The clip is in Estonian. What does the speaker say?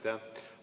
Aitäh!